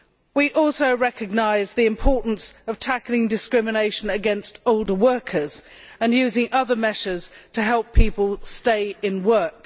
We also recognise the importance of tackling discrimination against older workers and using other measures to help people stay in work.